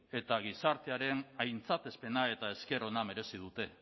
eta gizartearen aintzatespena eta esker ona merezi dute